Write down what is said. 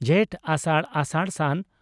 ᱡᱷᱮᱸᱴᱼᱟᱥᱟᱲ ᱟᱥᱟᱲᱼ ᱵᱹ ᱥᱟᱱ